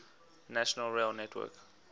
national rail network